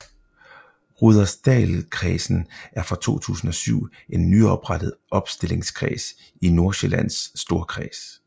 Rudersdalkredsen er fra 2007 en nyoprettet opstillingskreds i Nordsjællands Storkreds